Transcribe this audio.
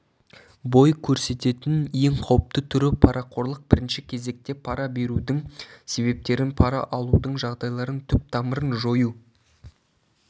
бой көрсететін ең қауіпті түрі-парақорлық бірінші кезекте пара берудің себептерін пара алудың жағдайларын түп-тамырын жою